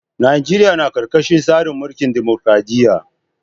Najeriya na karkashin tsarin mulkin dimokradiyya.